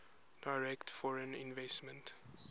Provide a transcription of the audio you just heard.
direct foreign investment